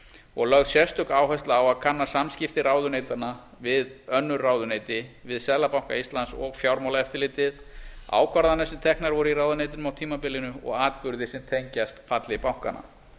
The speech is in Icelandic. og lögð sérstök áhersla á að kanna samskipti ráðuneytanna við önnur ráðuneyti seðlabanka íslands og fjármálaeftirlitið ákvarðanir sem teknar voru í viðkomandi ráðuneytum á tímabilinu og atburði sem tengjast falli bankanna